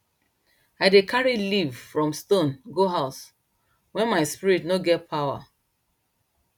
i dey carry leaf from stone go house when my spirit no get pawa